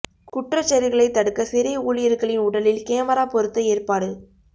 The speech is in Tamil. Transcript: குற்றச் செயல்களைத் தடுக்க சிறை ஊழியர்களின் உடலில் கேமரா பொருத்த ஏற்பாடு